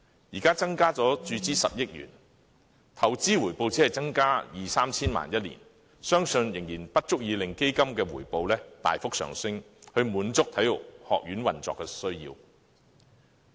現時增加注資10億元，相信每年的投資回報只會增加二三千萬元，仍然不足以令基金回報大幅上升，以滿足體院運作的需要。